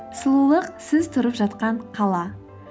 сұлулық сіз тұрып жатқан қала